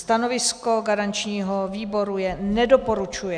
Stanovisko garančního výboru je nedoporučuje.